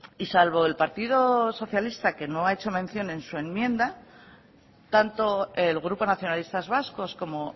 y salvo el partido socialista que no ha hecho mención en su enmienda tanto el grupo nacionalistas vascos como